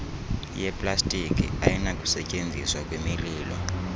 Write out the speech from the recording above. yeplastiki ayinakusetyenziswa kwimililo